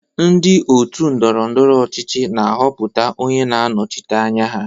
Ndị ótù ndọrọ ndọrọ ọchịchị na-ahọpụta onye na-anọchite anya ha.